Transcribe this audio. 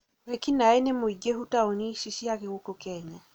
wĩĩkinae nĩ mũingĩhu taũni-inĩ cia gũkũ kenya